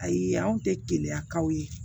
Ayi anw tɛ keleya kaw ye